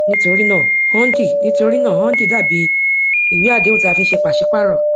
nítorí náà hundi nítorí náà hundi dà bí ìwé àdéhùn tí a fi ń ṣe pàṣípààrò